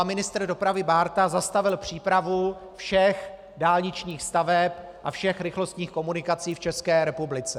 A ministr dopravy Bárta zastavil přípravu všech dálničních staveb a všech rychlostních komunikací v České republice.